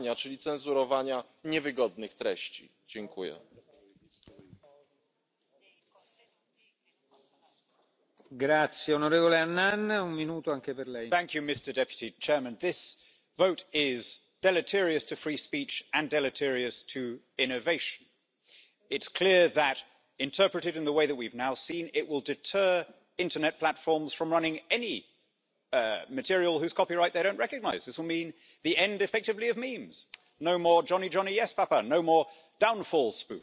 speech and development of smaller platforms. Therefore, I voted against the Commission's proposal as I do not believe that it has achieved sufficient balance on those issues. My colleagues and I supported the amendments to the text we said no to filtering and sought to establish dispute settlement, to ensure freedom of panorama and to protect press publications in respect of digital uses, as well as users